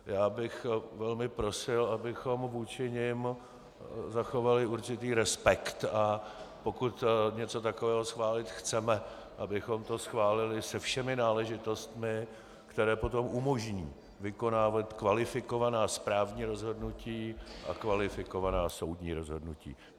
Já bych velmi prosil, abychom vůči nim zachovali určitý respekt, a pokud něco takového schválit chceme, abychom to schválili se všemi náležitostmi, které potom umožní vykonávat kvalifikovaná správní rozhodnutí a kvalifikovaná soudní rozhodnutí.